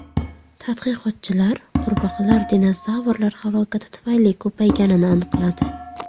Tadqiqotchilar qurbaqalar dinozavrlar halokati tufayli ko‘payganini aniqladi.